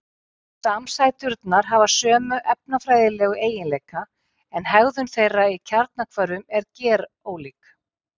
samsæturnar hafa sömu efnafræðilegu eiginleika en hegðun þeirra í kjarnahvörfum er gerólík